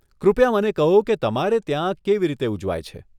કૃપયા મને કહો કે તમારે ત્યાં કેવી રીતે ઉજવાય છે?